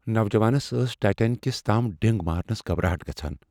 نوجوانس ٲس ٹایٹینکس تام ڈِنگ مارنس گھبراہٹ گژھان ۔